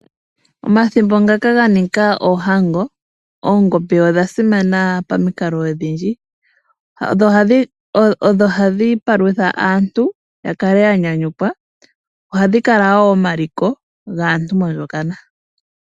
Omathimbo ngaka ga nika oohango, oongombe odha simana pamikalo odhindji. Odho hadhi palutha aantu ya kale ya nyanyukwa, ohadhi kala wo omaliko gaantu oyendji mondjokana.